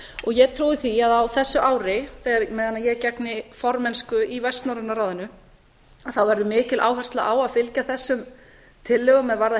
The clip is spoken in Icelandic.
og ég trúi því að á þessu ári á meðan ég gegni formennsku í vestnorræna ráðinu þá verði mikil áhersla á að fylgja eftir þessum tillögum er varða